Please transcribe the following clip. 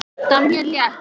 Hann stundi mæðulega.